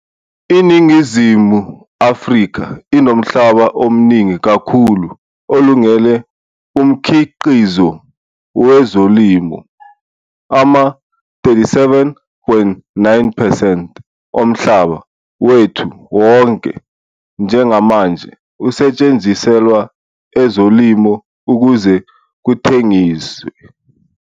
INingizimu Afrika inomhlaba omningi kakhulu olungele umkhiqizo wezolimo, ama-37.9 percent omhlaba wethu wonke njengamanje usetshenziselwa ezolimo ukuze kuthengiswe.